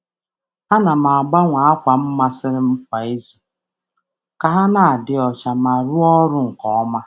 A na m agbanwe ákwà m masịrị m kwa izu ka ha na-adị ọcha ma rụọ ọrụ nke ọma.